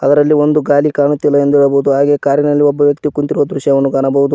ಅದರಲ್ಲಿ ಒಂದು ಗಾಲಿ ಕಾಣುತ್ತಿಲ್ಲ ಎಂದು ಹೇಳಬಹುದು ಹಾಗೆ ಕಾರಿನಲ್ಲಿ ಒಬ್ಬ ವ್ಯಕ್ತಿ ಕುಂತಿರುವ ದೃಶ್ಯವನ್ನು ಕಾಣಬೋದು.